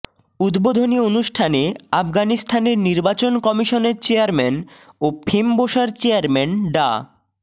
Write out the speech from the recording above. উদ্বোধনী অনুষ্ঠানে আফগানিস্তানের নির্বাচন কমিশনের চেয়ারম্যান ও ফেমবোসার চেয়ারম্যান ডা